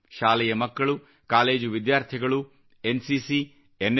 ಶಾಲೆಯ ಮಕ್ಕಳು ಕಾಲೇಜು ವಿದ್ಯಾರ್ಥಿಗಳು ಎನ್ಸಿನಸಿ ಎನ್ಎ